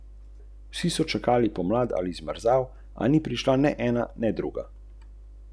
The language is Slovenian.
Pa še takrat si navadno hitro utišan, če nepravemu stopiš na žulj.